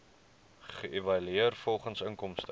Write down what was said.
geëvalueer volgens inkomste